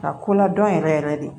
Ka ko ladɔn yɛrɛ yɛrɛ de